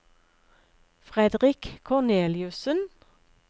Fredrik Korneliussen